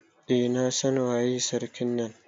Eh na San waye sarkin na.